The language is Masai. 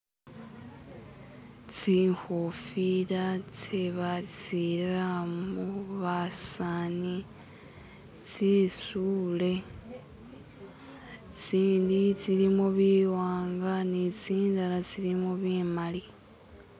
tsihofila tsebasilamu basani tsitsule tsini tsilimu biwanga ni tsindala tsilimu bimali